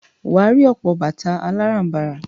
Wà á rí ọ̀pọ̀ bàtà aláràm̀barà.